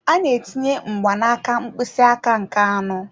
Ọ na-etinye mgbanaka mkpịsị aka nke anọ.